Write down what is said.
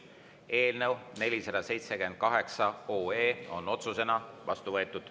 Eelnõu 478 on otsusena vastu võetud.